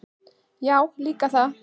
Já, líka það.